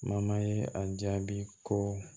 ye a jaabi ko